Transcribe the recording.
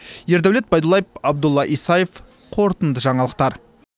ердәулет байдуллаев абдулла исаев қорытынды жаңалықтар